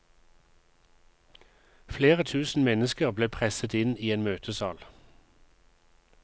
Flere tusen mennesker ble presset inn i en møtesal.